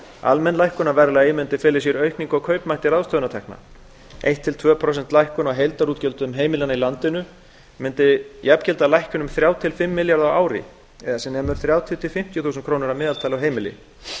almenn lækkun á verðlagi myndi fela í sér aukningu á kaupmætti ráðstöfunartekna eins til tveggja prósenta lækkun á heildarútgjöldum heimilanna í landinu mundi jafngilda lækkun um þrjá til fimm milljarða á ári eða sem nemur þrjátíu til fimmtíu þúsund krónum að meðaltali á heimili